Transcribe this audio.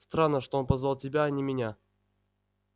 странно что он позвал тебя а не меня